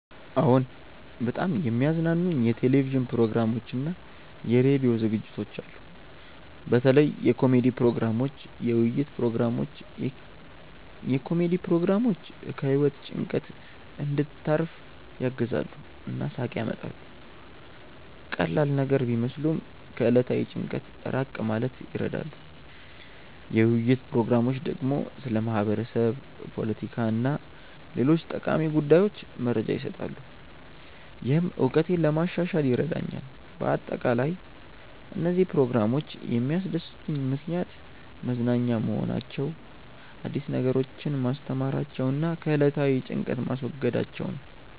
አዎን፣ በጣም የሚያዝናኑኝ የቴሌቪዥን ፕሮግራሞችና የራዲዮ ዝግጅቶች አሉ። በተለይ የኮሜዲ ፕሮግራሞች፣ የውይይት ፕሮግራሞች። የኮሜዲ ፕሮግራሞች ከህይወት ጭንቀት እንድታርፍ ያግዛሉ እና ሳቅ ያመጣሉ። ቀላል ነገር ቢመስሉም ከዕለታዊ ጭንቀት ራቅ ማለት ይረዳሉ። የውይይት ፕሮግራሞች ደግሞ ስለ ማህበረሰብ፣ ፖለቲካ እና ሌሎች ጠቃሚ ጉዳዮች መረጃ ይሰጣሉ፣ ይህም እውቀቴን ለማሻሻል ይረዳኛል በአጠቃላይ፣ እነዚህ ፕሮግራሞች የሚያስደስቱኝ ምክንያት መዝናኛ መሆናቸው፣ አዲስ ነገሮችን ማስተማራቸው እና ከዕለታዊ ጭንቀት ማስወገዳቸው ነው